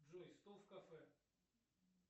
джой стол в кафе